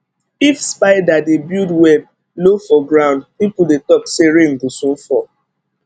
if spider dey build web low for ground people dey talk say rain go soon fall